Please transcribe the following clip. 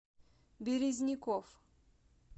березников